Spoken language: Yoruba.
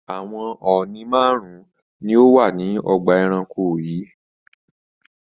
Àwọn ọ̀ọ̀nì márùn-ún ni ó wà ní ọgbà-ẹranko yìí.